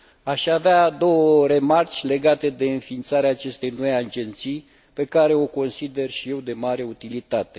Aș avea două remarce legate de înființarea acestei noi agenții, pe care o consider și eu de mare utilitate.